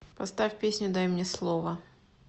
поставь песню дай мне слово